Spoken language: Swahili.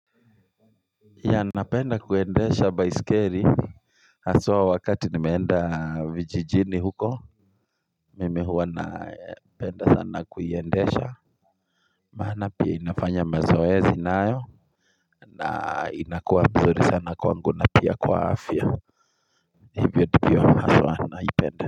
Ya napenda kuendesha baiskeli haswa wakati nimeenda vijijini huko mimi huwa ninapenda sana kuiendesha maana pia inafanya mazoezi nayo na inakuwa mzuri sana kwangu na pia kwa afya hiviyo ndivyo haswa naipenda.